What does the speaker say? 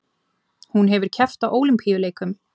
Hún hefur keppt á Ólympíuleikum